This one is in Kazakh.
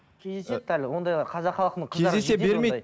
кездеседі әлі ондайлар қазақ халқының кездесе бермейді